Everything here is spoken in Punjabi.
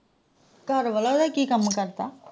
ਘਰਵਾਲਾ ਉਹਦਾ ਕਿ ਕੰਮ ਕਰਦਾ?